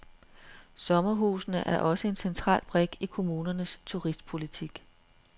Sommerhusene er også en central brik i kommunernes turistpolitik.